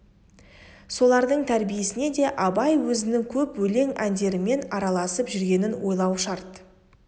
солардың тәрбиесіне де абай өзінің көп өлең әндерімен араласып жүргенін ойлау шарт